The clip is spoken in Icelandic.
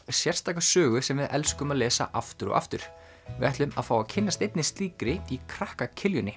sérstaka sögu sem við elskum að lesa aftur og aftur við ætlum að fá að kynnast einni slíkri í krakka